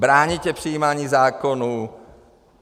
Bráníte přijímání zákonů.